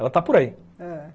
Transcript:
Ela está por aí. Ãh